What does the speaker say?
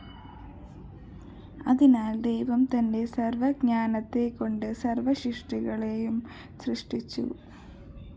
അതിനാല്‍ ദൈവം തന്റെ സര്‍വ്വജ്ഞാനത്തെക്കൊണ്ട് സര്‍വ്വസൃഷ്ടികളെയും സൃഷ്ടിച്ചു